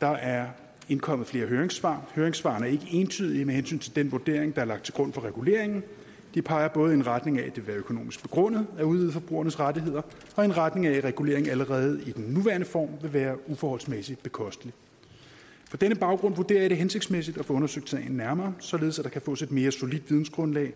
der er indkommet flere høringssvar høringssvarene er ikke entydige med hensyn til den vurdering der er lagt til grund for reguleringen de peger både i retning af at vil være økonomisk begrundet at udvide forbrugernes rettigheder og i retning af at reguleringen allerede i den nuværende form vil være uforholdsmæssig bekostelig på denne baggrund vurderer jeg det hensigtsmæssigt at få undersøgt sagen nærmere således at der kan fås et mere solidt vidensgrundlag